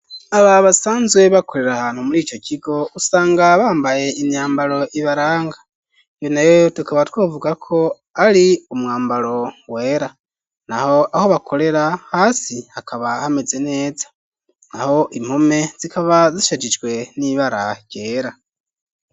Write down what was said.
Aba basanzwe bakorera ahantu muri ico kigo usanga bambaye imyambaro ibaranga iyo nayo tukaba twavuga ko ari umwambaro wera naho aho bakorera hasi hakaba hameze neza naho impome zikaba zishegijwe n'ibara ryera.